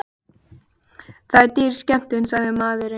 Það er dýr skemmtun, sagði maðurinn.